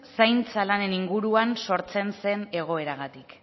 zaintza lanen inguruan sortzen zen egoeragatik